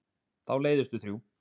Þá leiðumst við þrjú.